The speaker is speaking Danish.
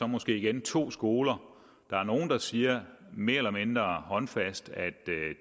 måske er to skoler der er nogle der siger mere eller mindre håndfast at